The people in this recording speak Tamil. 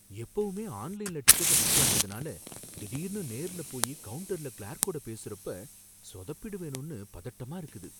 எப்பவுமே ஆன்லைன்ல டிக்கெட்ட புக் பண்றதுனால, திடீர்னு நேர்லபோயி கவுன்டருல கிளார்க்கோட பேசுறப்ப சொதப்பிடுவேனோனு பதட்டமா இருக்குது.